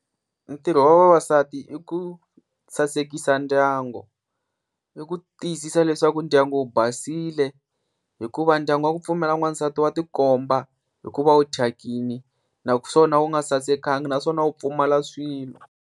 Ntirho wa vavasati i ku sasekisa ndyangu, i ku tiyisisa leswaku ndyangu wu basile hikuva ndyangu wa ku pfumala n'wansati wa tikomba hikuva u thyakile, naswona wu nga sasekanga naswona wu pfumala swilo.